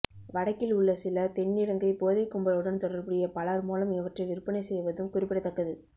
வடக்கில் உள்ள சிலர் தென்னிலங்கை போதைக் கும்பலுடன் தொடர்புடைய பலர் மூலம் இவற்றை விற்பனை செய்வதும் குறிப்பிடத்தக்கது